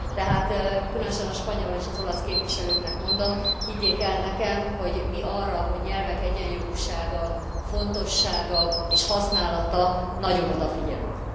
Tehát különösen a spanyol és az olasz képviselőknek mondom, higgyék el nekem, hogy mi arra, hogy nyelvek egyenjogúsága, fontossága és használata, nagyon odafigyelünk.